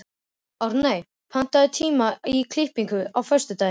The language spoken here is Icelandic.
Árney, pantaðu tíma í klippingu á föstudaginn.